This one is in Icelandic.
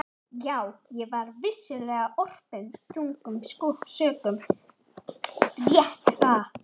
Já, ég var vissulega orpinn þungum sökum, rétt er það.